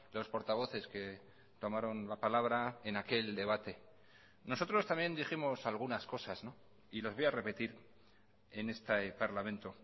los portavoces que tomaron la palabra en aquel debate nosotros también dijimos algunas cosas y les voy a repetir en este parlamento